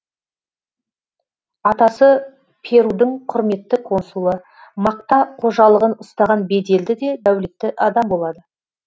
атасы перудің құрметті консулы мақта қожалығын ұстаған беделді де дәулетті адам болады